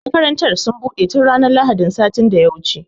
Makarantar sun buɗe tun ranar lahadin sati da ya wuce